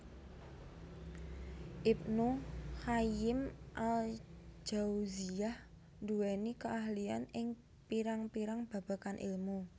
Ibnu Qayyim al Jauziyyah nduweni keahlian ing pirang pirang babagan ilmu